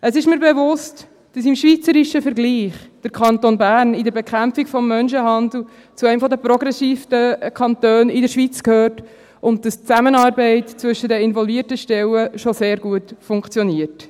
Es ist mir bewusst, dass der Kanton Bern im schweizerischen Vergleich in der Bekämpfung des Menschenhandels zu einem der progressivsten Kantone in der Schweiz gehört und dass die Zusammenarbeit zwischen den involvierten Stellen schon sehr gut funktioniert.